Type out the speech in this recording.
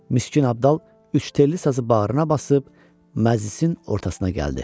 Miskin Abdal üç telli sazı bağrına basıb məclisin ortasına gəldi.